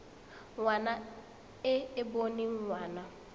ngwana e e boneng ngwana